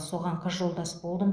соған қыз жолдас болдым